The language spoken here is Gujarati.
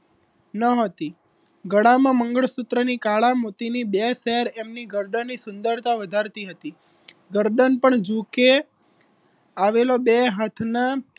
ન હતી ગળામાં મંગળસૂત્રની કાળા મોતીની બે પેર એમની ગરદન સુંદરતા વધારતી હતી ગરદન પણ ઝૂકે આવેલો બે હાથના